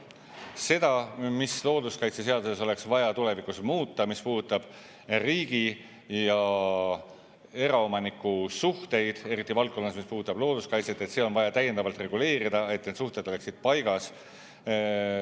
Seda, mis looduskaitseseaduses oleks vaja tulevikus muuta, mis puudutab riigi ja eraomaniku suhteid, eriti valdkonnas, mis puudutab looduskaitset, seda on vaja täiendavalt reguleerida, et need suhted oleksid paigas.